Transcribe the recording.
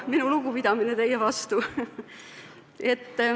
Minu lugupidamine teie vastu.